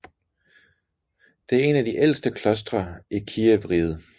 Det er en af de ældste klostre i Kijevriget